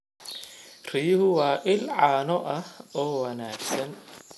Riyuhu waa il caano ah oo wanaagsan.